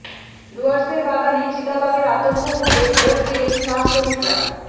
ডুয়ার্সের বাগানে চিতাবাঘের আতঙ্ক ভুলে ভোট দিলেন চা শ্রমিকরা